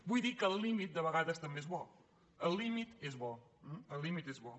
vull dir que el límit de vegades també és bo el límit és bo el límit és bo